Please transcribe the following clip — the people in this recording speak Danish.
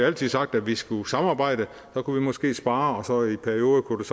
altid sagt at vi skulle samarbejde så kunne vi måske spare noget i perioder kunne